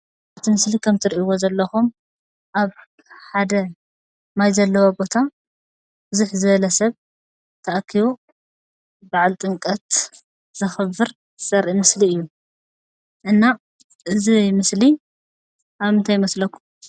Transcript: እቲ ምስሊ ከም ትሪኢዎ ዘለኹም ኣብ ሓደ ማይ ዘለዎ ቦታ ብዝሕ ዝበለ ሰብ ተኣኪቡ በዓል ጥምቀት ዘኽብር ዘርኢ ምስሊ እዩ፡፡ እና እዚ ምስሊ ኣብ ምንታይ ይመስለኩም?